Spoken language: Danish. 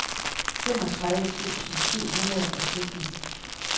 femogtredive tusind syv hundrede og sytten